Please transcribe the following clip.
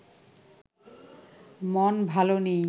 মন ভালো নেই